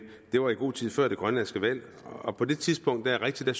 det var i god tid før det grønlandske valg på det tidspunkt er det rigtigt at